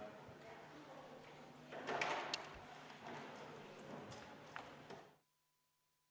Istungi lõpp kell 18.18.